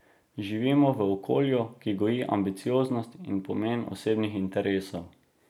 Živimo v okolju, ki goji ambicioznost in pomen osebnih interesov.